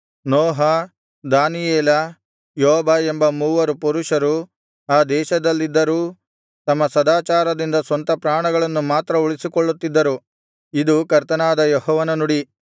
ನೋಹ Daniel ಯೋಬ ಎಂಬ ಮೂವರು ಪುರುಷರು ಆ ದೇಶದಲ್ಲಿದ್ದರೂ ತಮ್ಮ ಸದಾಚಾರದಿಂದ ಸ್ವಂತ ಪ್ರಾಣಗಳನ್ನು ಮಾತ್ರ ಉಳಿಸಿಕೊಳ್ಳುತ್ತಿದ್ದರು ಇದು ಕರ್ತನಾದ ಯೆಹೋವನ ನುಡಿ